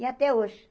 E até hoje.